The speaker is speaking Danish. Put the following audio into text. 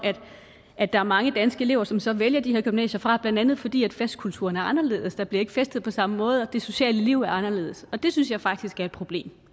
at der er mange danske elever som så vælger de her gymnasier fra blandt andet fordi festkulturen er anderledes der bliver altså ikke festet på samme måde og det sociale liv er anderledes det synes jeg faktisk er et problem